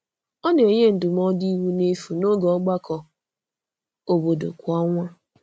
Ọ na-enye ndụmọdụ iwu n’efu n’oge ọgbakọ obodo kwa ọnwa.